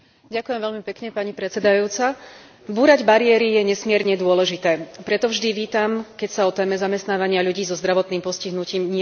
Búrať bariéry je nesmierne dôležité, preto vždy vítam, keď sa o téme zamestnávania ľudí so zdravotným postihnutím nielen hovorí, ale aj konkrétne sa koná.